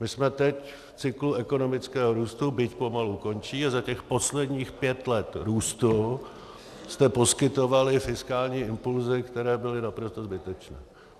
My jsme teď v cyklu ekonomického růstu, byť pomalu končí, a za těch posledních pět let růstu jste poskytovali fiskální impulzy, které byly naprosto zbytečné.